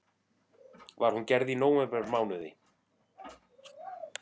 Var hún gerð í nóvembermánuði